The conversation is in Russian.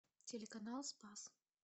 телеканал спас